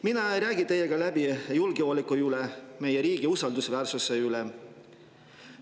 Mina ei räägi teiega läbi julgeoleku üle, meie riigi usaldusväärsuse üle.